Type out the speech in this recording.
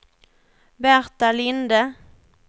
Berta Linde